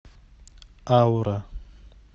аура